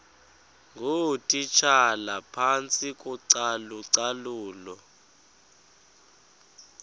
ngootitshala phantsi kocalucalulo